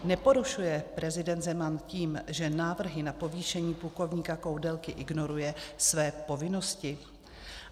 Neporušuje prezident Zeman tím, že návrhy na povýšení plukovníka Koudelky ignoruje, své povinnosti?